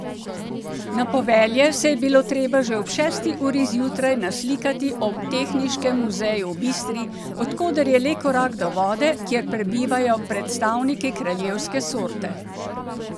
Na povelje se je bilo treba že ob šesti uri zjutraj naslikati ob Tehniškem muzeju v Bistri, od koder je le korak do vode, kjer prebivajo predstavniki kraljevske sorte.